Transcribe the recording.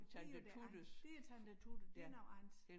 Det jo det andet det er Tante Tutte det noget andet